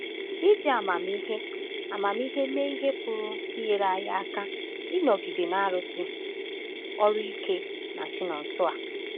Iji amamihe amamihe mee ihe pụrụ inyere anyị aka ịnọgide na-arụsi ọrụ ike na Chinonsoer